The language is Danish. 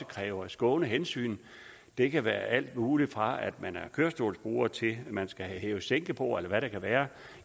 kræver skånehensyn det kan være alt muligt fra at man er kørestolsbruger til at man skal have hæve sænke bord eller hvad det kan være